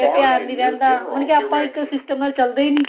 ਫੇਰ ਧਿਆਨ ਨੀ ਰਹਿੰਦਾ ਮਤਲਬ ਕੀ ਆਪਾਂ ਇੱਕ system ਨਾਲ ਚੱਲਦੇ ਈ ਨੀ